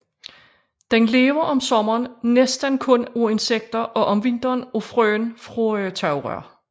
Den lever om sommeren næstten kun af insekter og om vinteren af frøene fra tagrør